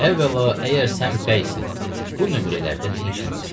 Əvvəla, əgər sən bəysən, bu nömrələrdə nə işin var?